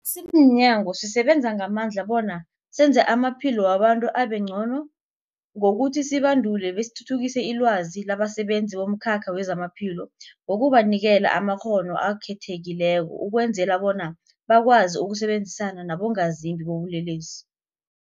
Simnyango, sisebenza ngamandla bona senze amaphilo wabantu abengcono ngokuthi sibandule besithuthukise ilwazi labasebenzi bomkhakha wezamaphilo ngokubanikela amakghono akhethekileko ukwenzela bona bakwazi ukusebenzisana nabongazimbi bobulelesi.